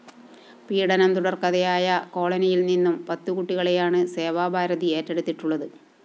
പീഡനം തുടർക്കഥയായ കോളനിയിൽ നിന്നും പത്തുകുട്ടികളെയാണ് സേവാഭാരതി ഏറ്റെടുത്തിട്ടുള്ളത്